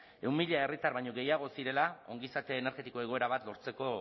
ehun mila herritar baino gehiago zirela ongizate energetikoa egoera bat lortzeko